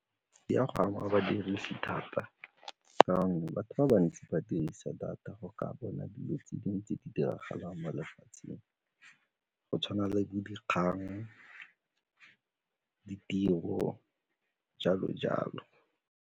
Di a go ama badiri thata ka gonne batho ba bantsi ba dirisa data go ka bona dilo tse dingwe tse di diragalang mo lefatsheng go tshwana le bo dikgang, ditiro, jalo-jalo.